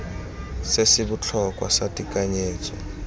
se se botlhokwa sa tekanyetso